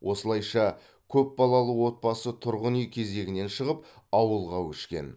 осылайша көпбалалы отбасы тұрғын үй кезегінен шығып ауылға көшкен